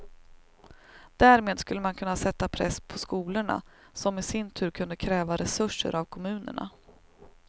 Därmed skulle man kunna sätta press på skolorna som i sin tur kunde kräva resurser av kommunerna.